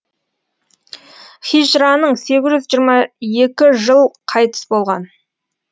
хижраның сегіз жүз жиырма екі жыл қайтыс болған